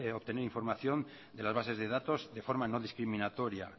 obtener información de las bases de datos de forma no discriminatoria